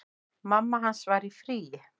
Mamma hans var í fríi.